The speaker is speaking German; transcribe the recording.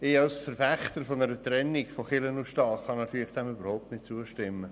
Als Verfechter einer Trennung von Kirche und Staat kann ich dem natürlich überhaupt nicht zustimmen.